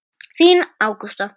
Þín Ágústa.